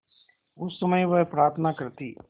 उस समय वह प्रार्थना करती